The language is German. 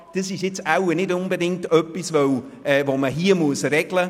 Deshalb hatten wir das Gefühl, das sei nicht unbedingt etwas, das man hier regeln müsste.